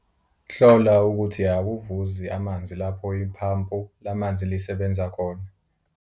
Hlola ukuthi akuvuzi amanzi lapho iphampu lamanzi lisebenza khona.